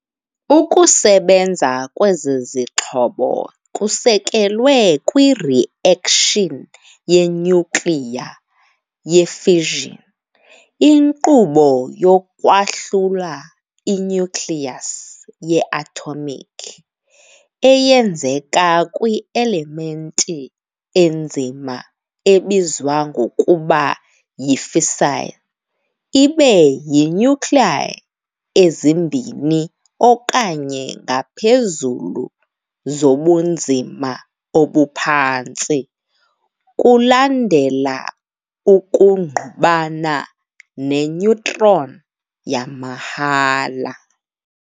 Ukusebenza kwezi zixhobo kusekelwe kwi-reaction ye-nyukliya ye-fission, inkqubo yokwahlula i-nucleus ye-atomic, eyenzeka kwi- elementi enzima ebizwa ngokuba yi-fissile, ibe yi-nuclei ezimbini okanye ngaphezulu zobunzima obuphantsi, kulandela ukungqubana ne- neutron yamahhala.